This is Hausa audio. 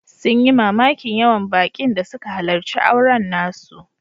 Sun yi mamakin yawan bakin da suka halarci auren nasu.